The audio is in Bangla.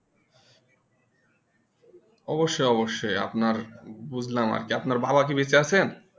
অবশ্যই অবশ্যই আপনার বুঝলাম আর কি আপনার কি বাবা কি বেঁচে আচেন